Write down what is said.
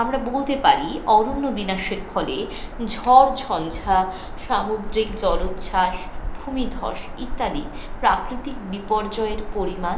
আমরা বলতে পারি অরণ্য বিনাশের ফলে, ঝড় ঝঞ্ঝা, সামুদ্রিক জলোচ্ছ্বাস, ভুমিধ্বস ইত্যাদি প্রাকৃতিক বিপর্যয়ের পরিমান